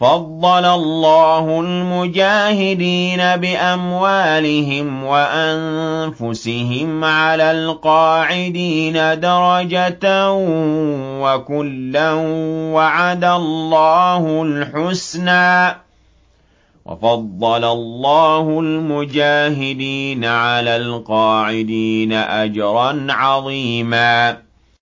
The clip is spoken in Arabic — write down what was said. فَضَّلَ اللَّهُ الْمُجَاهِدِينَ بِأَمْوَالِهِمْ وَأَنفُسِهِمْ عَلَى الْقَاعِدِينَ دَرَجَةً ۚ وَكُلًّا وَعَدَ اللَّهُ الْحُسْنَىٰ ۚ وَفَضَّلَ اللَّهُ الْمُجَاهِدِينَ عَلَى الْقَاعِدِينَ أَجْرًا عَظِيمًا